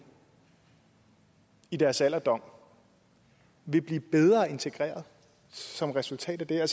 i deres alderdom vil blive bedre integreret som resultat af det her